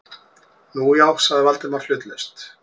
Nú, já- sagði Valdimar hlutlaust.